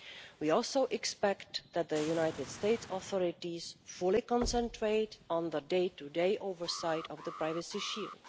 We also expect that the United States authorities fully concentrate on the day to day oversight of the Privacy Shield.